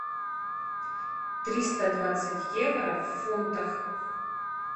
триста двадцать евро в фунтах